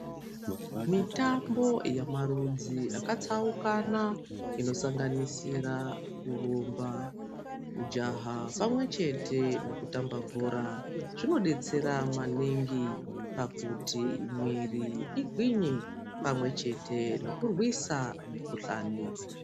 Mitambo yamarudzi akatsaukana inosanganisira kurumba, kujaha pamwe chete nekutamba bhora. Zvinobetsera maningi pakuti mwiri igwinye pamwe chete nekurwisa mikuhlani.